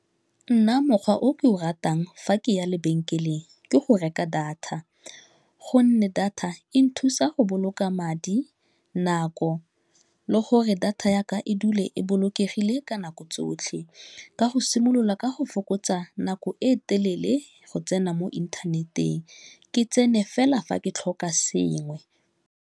Nna mokgwa o ke o ratang fa ke ya lebenkeleng ke go reka data gonne data e nthusa go boloka madi nako le gore data ya a e dule e bolokegile ka nako tsotlhe ka go simolola ka go fokotsa nako e telele go tsena mo inthaneteng ke tsene fela fa ke tlhoka sengwe.